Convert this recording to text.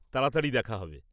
তাড়াতাড়ি দেখা হবে।